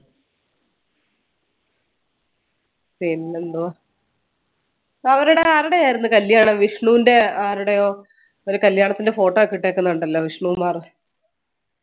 പിന്നെന്തുവാ അവരുടെ ആരുടെ ആയിരുന്നു കല്യാണം വിഷ്ണുൻറെ ആരുടെയോ ഒരു കല്യാണത്തിന്റെ photo ഒക്കെ ഇട്ടേക്കുന്ന കണ്ടല്ലോ വിഷ്ണു കുമാർ